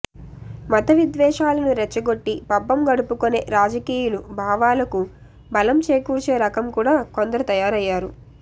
మత విద్వేషాలను రెచ్చగొట్టి పబ్బం గడుపుకునే రాజకీయులు భావాలకు బలం చేకూర్చే రకం కూడా కొందరు తయారయ్యారు